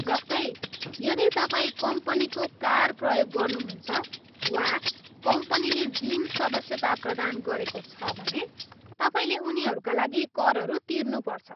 जस्तै, यदि तपाईँ कम्पनीको कार प्रयोग गर्नुहुन्छ वा कम्पनीले जिम सदस्यता प्रदान गरेको छ भने, तपाईँले उनीहरूका लागि करहरू तिर्नुपर्छ।